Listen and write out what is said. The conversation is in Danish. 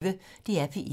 DR P1